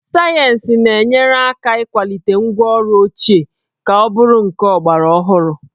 Sayensị na-enyere aka n'ịkwalite ngwaọrụ ochie ka ọ bụrụ nke ọgbaraọhụrụ